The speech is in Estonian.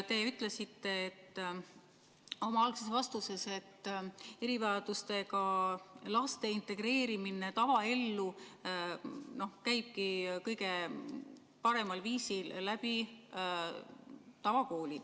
Te ütlesite oma algses vastuses, et erivajadustega laste integreerimine tavaellu käibki kõige paremal viisil tavakoolis.